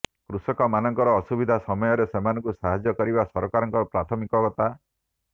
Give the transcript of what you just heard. କୃଷକ ମାନଙ୍କର ଅସୁବିଧା ସମୟରେ ସେମାନଙ୍କୁ ସାହାଯ୍ୟ କରିବା ସରକାରଙ୍କ ପ୍ରାଥମିକତା